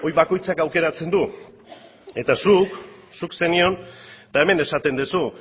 bakoitzak aukeratzen du eta zuk zuk zenion eta hemen esaten duzu